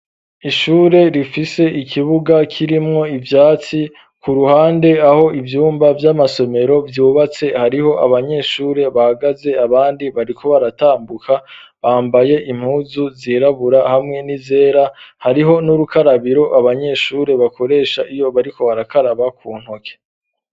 Ishure rifise ikibuga kirimwo ivyatsi ku ruhande aho ivyumba vy'amasomero ryubatse hariho abanyeshuri bahagaze abandi bariko baratambuka bambaye impuzu zirabura hamwe n'izera hariho n'urukarabiro abanyeshure bakoresha iyo bariko barakaraba ku ntoke